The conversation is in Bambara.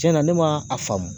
Tiɲɛna ne ma a faamu.